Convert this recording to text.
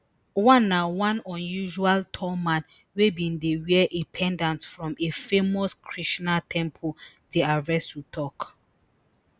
one na one unusually tall man wey bin dey wear a pendant from a famous krishna temple dr vasu tok